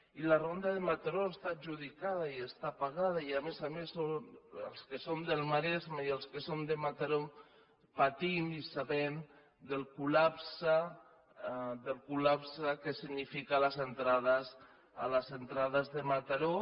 i la ronda de mataró està adjudicada i està pagada i a més a més els que som del maresme i els que som de mataró patim i sabem el col·lapse que significa les entrades de mataró